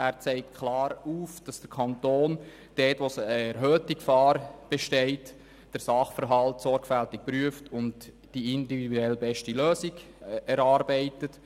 Er zeigt klar auf, dass der Kanton dort, wo erhöhte Gefahr besteht, den Sachverhalt sorgfältig prüft und die individuell beste Lösung erarbeitet.